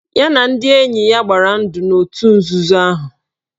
Ya na ndị enye ya gbara ndụ n'otu nzuzo ahụ.